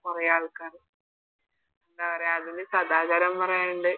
കൊറേ ആൾക്കാര് എന്ന പറയാ അതിന് സദാചാരം പറയാനിണ്ട്